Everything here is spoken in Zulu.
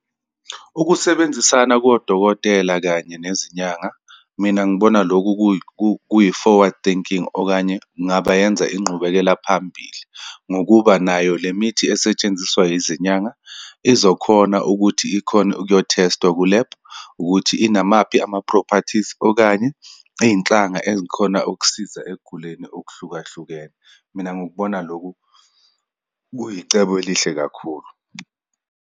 Ukusebenzisana kodokotela kanye nezinyanga. Mina, ngibona lokhu kuyi-forward thinking, okanye kungaba yenza inqubekela phambili, ngokuba nayo le mithi esetshenziswa izinyanga izokhona ukuthi ikhone ukuyo-test-wa ku-lab, ukuthi inamaphi ama-properties, okanye iyinhlanga eyikhona ukusiza ekuguleni okuhlukahlukene. Mina, ngikubona lokhu kuyicebo elihle kakhulu.